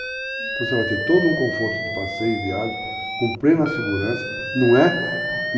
Então você vai ter todo um conforto de passeio e viagem com plena segurança. Não é,